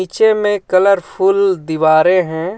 नीचे में कलरफुल दिवारे हैं.